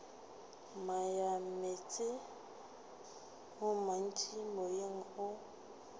moyameetse o montši moyeng o